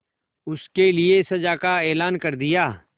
उसके लिए सजा का ऐलान कर दिया